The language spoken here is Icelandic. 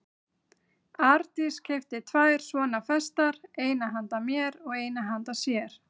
Arndís keypti tvær svona festar, eina handa mér og eina handa sér.